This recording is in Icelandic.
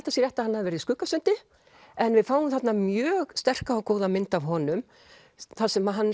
það sé rétt að hann hafi verið í Skuggasundi en við fáum þarna mjög sterka og góða mynd af honum þar sem hann